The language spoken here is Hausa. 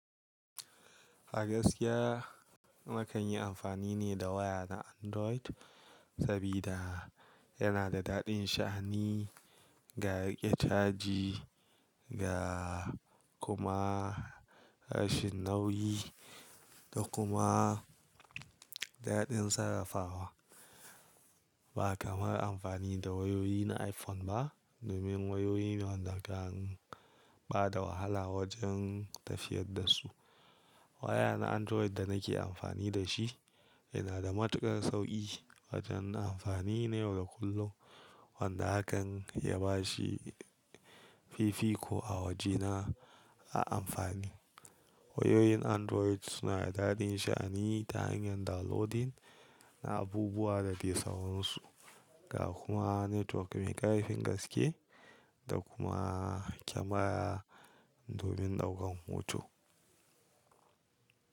A gaskiya nakan yi amfani ne da waya na Android sabida yana da daɗin sha'ani, ga riƙe caji, ga kuma rashin nauyi da kuma daɗin sarrafawa. Ba kamar amfani da wayoyi na iPhone ba domin wayoyi ne wanɗa kan ba da wahala wajen tafiyar da su. Waya na Android da nake amfani da shi yana da matuƙar sauƙi wajen amfani na yau da kullum wanda hakan ya ba shi fifiko a wajena a amfani. Wayoyin Android suna da daɗin sha'ani ta hanyar downloading na abubuwa da ke sahunsu ga kuma network mai ƙarfin gaske da kuma kyamara domin ɗaukan hoto.